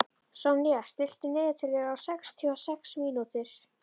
Sonja, stilltu niðurteljara á sextíu og sex mínútur.